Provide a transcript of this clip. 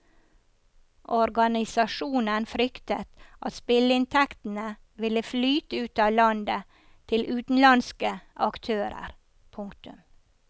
Organisasjonen fryktet at spilleinntektene ville flyte ut av landet til utenlandske aktører. punktum